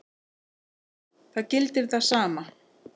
Það gildir það sama.